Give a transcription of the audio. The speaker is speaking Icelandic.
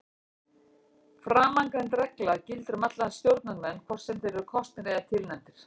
Framangreind regla gildir um alla stjórnarmenn hvort sem þeir eru kosnir eða tilnefndir.